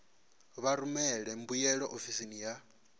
vha rumele mbuyelo ofisini ya